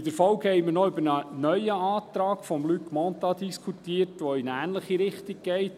In der Folge haben wir noch über einen neuen Antrag von Luc Mentha diskutiert, der in eine ähnliche Richtung geht.